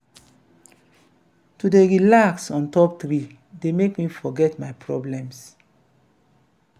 to dey relax on top tree dey make me forget my problems.